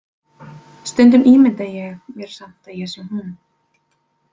Stundum ímynda ég mér samt að ég sé hún.